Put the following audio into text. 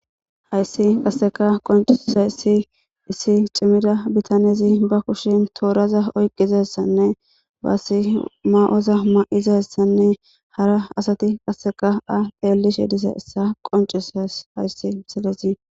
hayssi qasseka qoncisiza issi issi cimmida bitanezi ba kushin tooraza oyqqizayssanne baasi ma7oza ma7izayssanne hara asati qasseka a pheellishe disa issa qoncuss hayssi miselesi